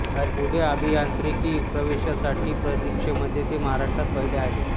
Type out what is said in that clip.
पुढे अभियांत्रिकी प्रवेशासाठीच्या परीक्षेमध्ये ते महाराष्ट्रात पहिले आले